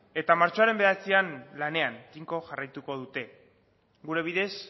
eta martxoaren bederatzian lanean tinko jarraituko dute gure bidez